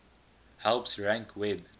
helps rank web